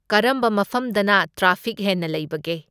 ꯀꯔꯝꯕ ꯃꯐꯝꯗꯅ ꯇ꯭ꯔꯥꯐꯤꯛ ꯍꯦꯟꯅ ꯂꯩꯕꯒꯦ?